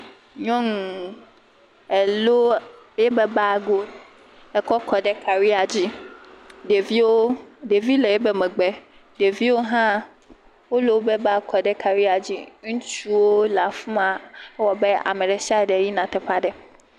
Nyɔnu elo yebe bag wo ekɔ kɔɖe karia dzi, ɖevio ɖevi le ibe megbe. Ɖevio hã wolobe bag kɔɖe karia dzi. Ŋutsuwo le afima ewɔabe ameɖe siaɖe yina teƒaɖe.